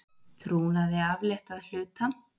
Trúnaði aflétt að hluta